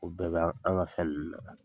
O bɛɛ ba an ga fɛn ninnu na.